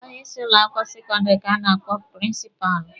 Onye isi ụlọ akwụkwọ sekọndịrị ka a na-akpọ prịnsịpalụ.